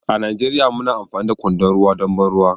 A Najeriya muna amfani da kwandon ruwa don ban ruwa